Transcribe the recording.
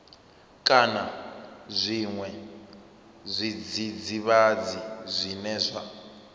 kana zwiṅwe zwidzidzivhadzi zwine zwa